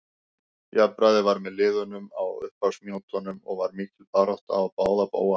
Jafnræði var með liðunum á upphafsmínútunum og var mikil barátta á báða bóga.